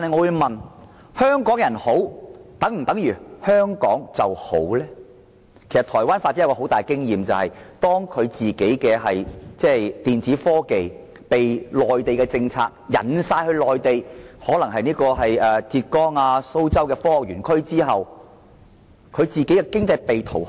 由於受到內地政策所吸引，當地的電子科技業都轉往內地發展，例如浙江和蘇州的科學園區，台灣經濟亦因此被掏空。